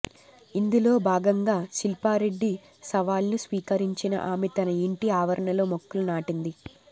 ఇందులో భాగంగా శిల్పారెడ్డి సవాల్ను స్వీకరించిన ఆమె తన ఇంటి ఆవరణలో మొక్కలు నాటింది